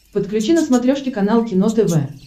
подключи на смотрешке канал кино тв